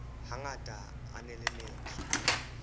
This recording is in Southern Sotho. hangata a na le metso